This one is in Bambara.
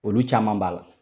Olu caman b'a la